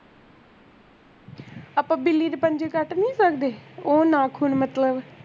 ਆਪਾਂ ਬਿੱਲੀ ਦੇ ਪੰਜੇ ਕਟ ਨੀ ਸਕਦੇ ਓਹ ਨਾਖ਼ੁਨ ਮਤਲਬ